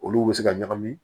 Olu bɛ se ka ɲagami